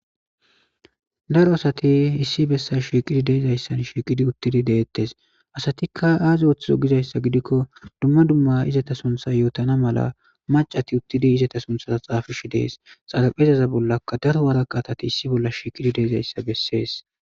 daro asati issi bessa shiiqidi deezayssan shiiqidi uttidi deettes asatikka aaze woththizo gizayssa gidikko dumma dumma izata suntha yootana mala macati uttidi izata suntha xaafishi dees xalapezaza bollaka daro waraqa atati issi bolla shiiqidi deezayssa bessees